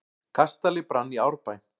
Kastali brann í Árbæ